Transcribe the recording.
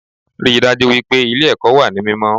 Ríi dájú wípé Ilé èkó wà ní mímó